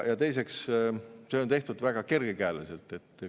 Ja teiseks, see on tehtud väga kergekäeliselt.